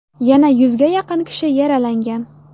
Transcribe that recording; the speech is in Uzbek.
Yana yuzga yaqin kishi yaralangan.